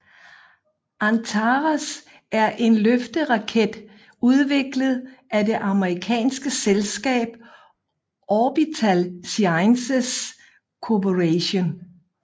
Antares er en løfteraket udviklet af det amerikanske selskab Orbital Sciences Corporation